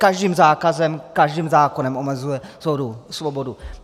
Každým zákazem, každým zákonem omezuje svobodu.